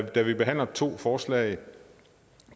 da vi behandler to forslag